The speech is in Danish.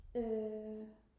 øh